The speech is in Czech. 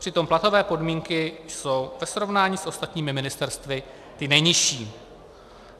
Přitom platové podmínky jsou ve srovnání s ostatními ministerstvy ty nejnižší.